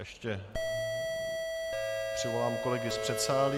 Ještě přivolám kolegy z předsálí.